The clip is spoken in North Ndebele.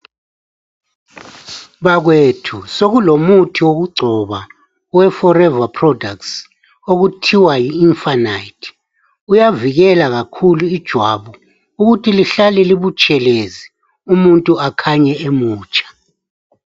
Bakwethu sekulomuthi wokugcoba oweForever products okuthiwa yi infinite uyavikela kakhulu ijwabu ukuthi lihlale libutshelezi umuntu akhanye emutsha.